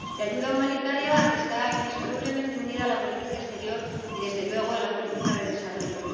La ayuda humanitaria está indisolublemente unida a la política exterior y, desde luego, a la política de desarrollo.